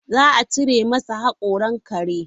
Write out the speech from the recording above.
Za a cire masa haƙoran kare.